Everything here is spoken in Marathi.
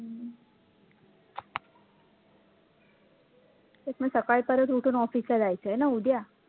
तेच मग सकाळ परत उठून office ला जायचं ना उद्या